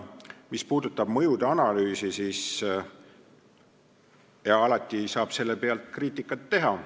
Mis puudutab mõjude analüüsi, siis alati saab sellel teemal kriitikat teha.